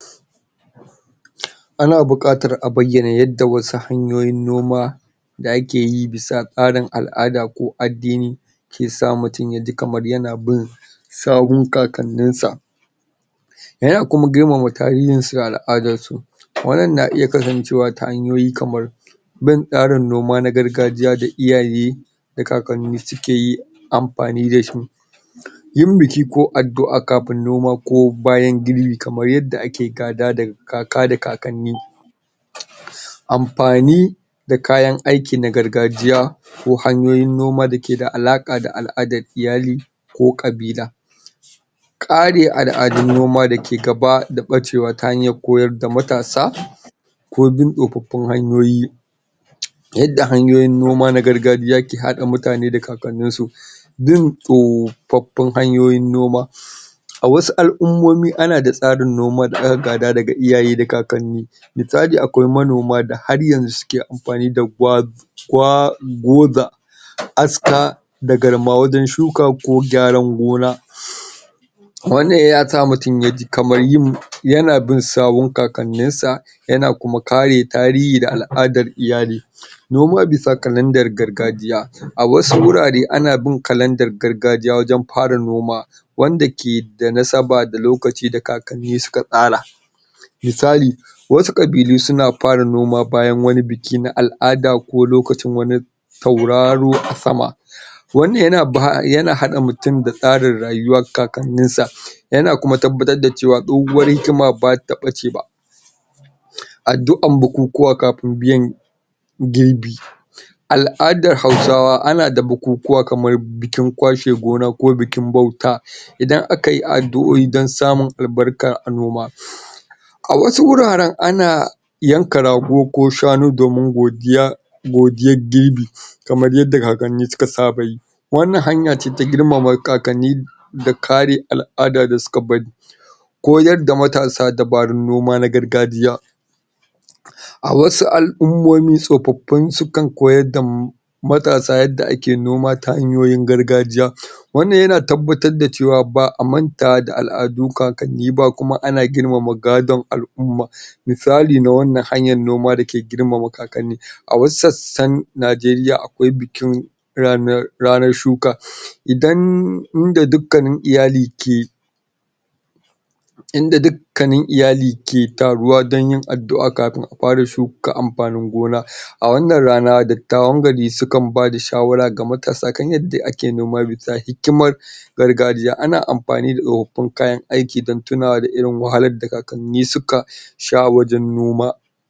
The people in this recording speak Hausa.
Ana buƙatar a bayyana yadda wasu hanyoyin noma da ake yi bisa tsarin al'ada ko addini ke asa mutum ya ji kamar yana bin sawun kakanninsa. Yana kuma girmana tarihinsu da al'adarsu. to wannan na iya kasancewa ta hanyoyi kamar bin tsarin noma na gargajiya da iyaye da kakanni suke yi amfani da shi. Yin biki ko addu'a kafin noma bayan girbi kamar yadda ake gada daga kaka da kakanni amfani da kayan aiki na gargajiya. ko hanyoyin noma da ke da alaƙa da al'adar iyali ko ƙabila. kare al'adun noma da ke gaba da ɓacewa ta hanyar koyar da matasa ko bin tsofaffin hanyoyi. Yadda hanyiyin noma na gargajiya ke haɗa mutane da kakanninsu bin tsofaffin hanyoyin noma A wasu al'ummomi ana da tsarin noma da aka gada daga iyaye da kakanni misali akwai manoma da har yanzu suke amfani da aska da garma wajen shuka ko gyaran gona. wannan ya sa mutum ya ji kamar yana bin sawun kakannin sa, yana kuma kare tarihi da al'adar iyali. Noma bisa kalandar gargajiya. A wasu wurwre ana bin kalandar gargajiya wajen fara noma, wanda ke da nasaba da lokaci da kakanni suka tsara misali wasu ƙabilu suna fara bayan wani biki na al'ada ko lokacin wani tauraro a sama to wannan yana haɗa mutum da tsarin rayuwar kakanninsa yana kuma tabbatar da cewar tsohuwar hikima ba ta ɓace ba. Addu'ar bukukuwa kafin biyan girbi, Al'adar Hausawa ana da bukukuwa kamar bikin kwashe gona ko bikin bauta idan aka yi addu'o'i don samun albarkar noma a wasu wurwren ana, yanka rago ko shanu domin godiya, godiyar girbi. kamar yadda kakanni suka saba yi. Wannan hanya ce ta girmama kakanni, da kare al'ada da suka bari Koyar da matsa dabarun noma na gargajiya. a wasu al'ummomi tsofaffi sukan koyar da matasa yadda ake noma ta hanyoyin gargajiya wannan yana tabbatar da cewa ba a man ta da al'adun kakanni ba kuma ana girmama gadon al'umma. Misali na wannan hanyar noma da ke girmama kakani. A wasu sassana Najeriya akwai bikin ranar shuka idan, inda dukkanin iyali ke Inda dukkanin iyali ke taruwa don yin addu'a kafin a fara shuka amfanin gona. A wannan rana dattawan gari sukan bada shawara ga matasa kan yadda ake noma bisa hikimar gargajiya ana amfani da tsofaffin kayan aikin don tunawa da irin wahalar da kakanni suka sha wajen noma.